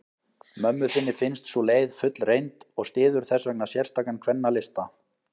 Mömmu þinni finnst sú leið fullreynd, og styður þessvegna sérstakan kvennalista.